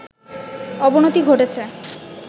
অবনতি ঘটেছে